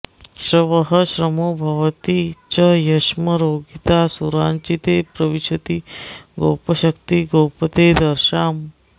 श्रवःश्रमो भवति च यक्ष्मरोगिता सुराचिंते प्रविशति गोपशति गोपतेर्दशाम्